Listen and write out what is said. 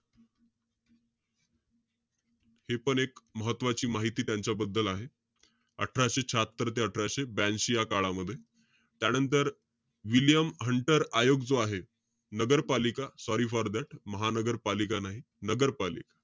हे पण एक महत्वाची माहिती त्यांच्याबद्दल आहे. अठराशे शाह्यात्तर ते अठराशे ब्यांशी, या काळामध्ये. त्यानंतर, विल्यम हंटर आयोग जो आहे, नगरपालिका sorry for that महानगरपालिका नाई, नगरपालिका.